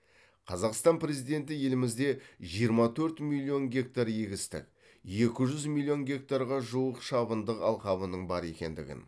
қазақстан президенті елімізде жиырма төрт миллион гектар егістік екі жүз миллион гектарға жуық шабындық алқабының бар екендігін